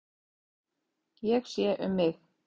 Ég sé um mig.